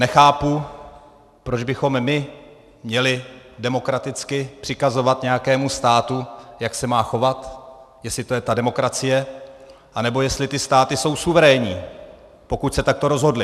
Nechápu, proč bychom my měli demokraticky přikazovat nějakému státu, jak se má chovat, jestli to je ta demokracie, anebo jestli ty státy jsou suverénní, pokud se takto rozhodly.